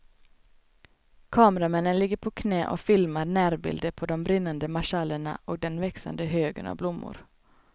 Kameramännen ligger på knä och filmar närbilder på de brinnande marschallerna och den växande högen av blommor.